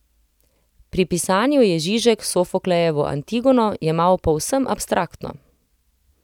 Pri pisanju je Žižek Sofoklejevo Antigono jemal povsem abstraktno.